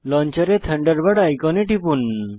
লঞ্চারে Thunderbird আইকনে টিপুন